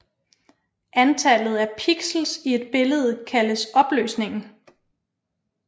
Antallet af pixels i et billede kaldes opløsningen